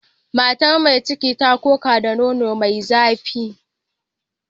Matar mai ciki ta koka da nono mai zafi.